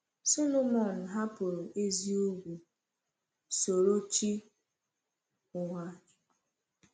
Solomon hapụrụ ezi ugwu, soro chi ụgha.